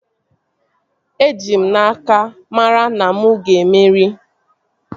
Eji m n'aka, mara na mụ ga-emeri